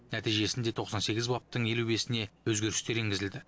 нәтижесінде тоқсан сегіз баптың елу бесіне өзгерістер енгізілді